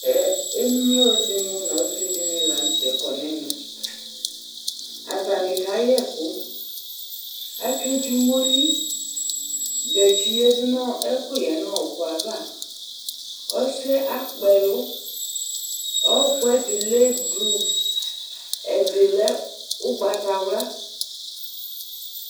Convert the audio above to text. Emlo ɖɩnɩ nʋ ɔsɩ ɖɩnɩ la nʋ tɛ ƙɔ nʋ ɛmɛAtanɩ kaƴɛƙʋ, aƙeɖzi omoli; gatsi ƴǝɖu nʋ ɛƙʋƴɛ ƴɛ nʋ ɔƙʋɛ avaƆsɩ ƴɛ aƙpɛlʋ, ɔƙʋ ɛɖɩ lɛ blu, ɛɖɩ lɛ ʋgbatawla